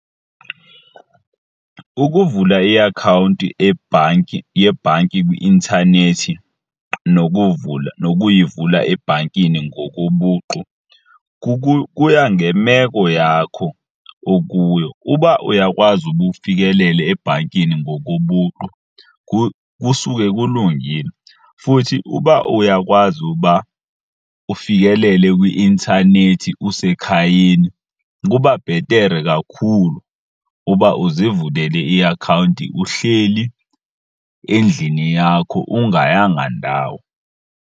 Ukuvula iakhawunti ebhanki, yebhanki kwi-intanethi nokuyivula ebhankini ngokobuqu kuya ngemeko yakho okuyo. Uba uyakwazi uba ufikelele ebhankini ngokobuqu kusuke kulungile futhi uba uyakwazi uba ufikelele kwi-intanethi usekhayeni kuba bhetere kakhulu uba uzivulele iakhawunti uhleli endlini yakho ungayanga ndawo.